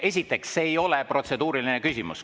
Esiteks, see ei ole protseduuriline küsimus.